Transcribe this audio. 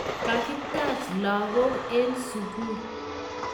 Kakitach lagok eng sugul